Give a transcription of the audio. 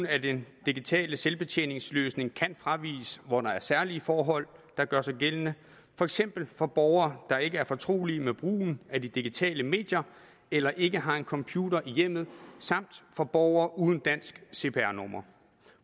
af den digitale selvbetjeningsløsning kan fraviges hvor der er særlige forhold der gør sig gældende for eksempel for borgere der ikke er fortrolige med brugen af de digitale medier eller ikke har en computer i hjemmet samt for borgere uden et dansk cpr nummer